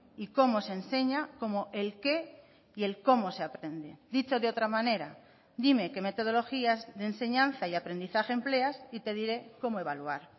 y cómo se enseña como el qué y el cómo se aprende dicho de otra manera dime qué metodologías de enseñanza y aprendizaje empleas y te diré cómo evaluar